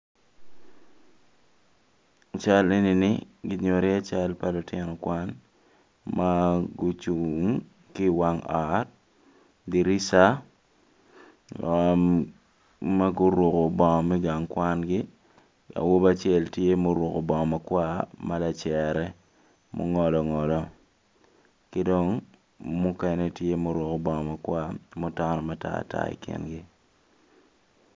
Cal eni kinyuto iye cal pa lutino kwan ma gucung i wang ot dirica ma guruko bongo me gang kwangi awobi acel tye ma oruko bongo makwar ma lacere mungolongolo ki dong mukene tye ma oruko bongo makwa mutonotono i kingi.